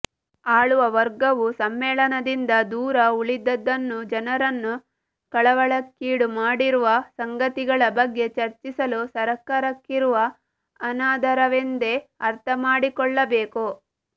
ಆಳುವವರ್ಗವು ಸಮ್ಮೇಳನದಿಂದ ದೂರ ಉಳಿದದ್ದನ್ನು ಜನರನ್ನು ಕಳವಳಕ್ಕೀಡು ಮಾಡಿರುವ ಸಂಗತಿಗಳ ಬಗ್ಗೆ ಚರ್ಚಿಸಲು ಸರ್ಕಾರಕ್ಕಿರುವ ಅನಾದರವೆಂದೇ ಅರ್ಥಮಾಡಿಕೊಳ್ಳಬೇಕು